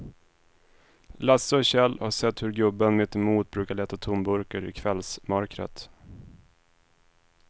Lasse och Kjell har sett hur gubben mittemot brukar leta tomburkar i kvällsmörkret.